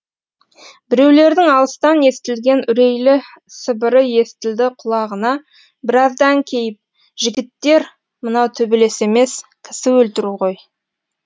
біреулердің алыстан естілген үрейлі сыбыры естілді құлағына біраздан кейін жігіттер мынау төбелес емес кісі өлтіру ғой